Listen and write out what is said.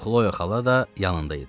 Xloya xala da yanında idi.